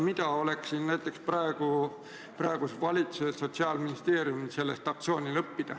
Mida on sellest aktsioonist praegusel valitsusel ja sotsiaalministeeriumil õppida?